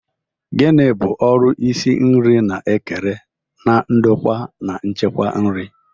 Gini bu ọrụ isi nri na-ekere na ndokwa na nchekwa nri?